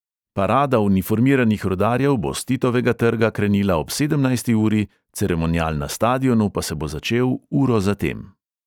Parada uniformiranih rudarjev bo s titovega trga krenila ob sedemnajsti uri, ceremonial na stadionu pa se bo začel uro za tem.